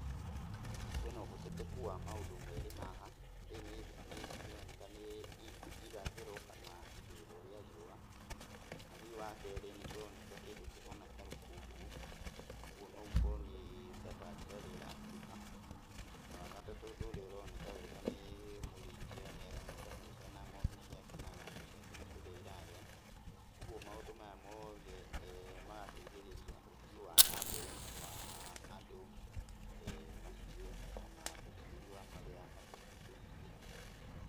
Kwĩna ũhoteteku wa maũndũ merĩ haha, rĩrĩ nĩ nĩroneka nĩ irathĩro kana ithũĩro rĩa riũa. Na hihi wakerĩ nĩ kũroneka kĩndũ kĩhana ta rũkũngũ, ũguo no gũkorwo nĩ safari rally ĩrahĩtũka. Na wagatatũ ũndũ ũrĩa ũroneka wega nĩ mũrĩithia nĩ aroneka hau ena ng'ombe ciake na ng'ombe ciake nĩ kũrĩa irarĩa. Ũguo maũndũ maya mothe magateithĩrĩria ũthii wa na mbere wa andũ, mahiũ ona ũgitĩri wa marĩa matũrigicĩirie.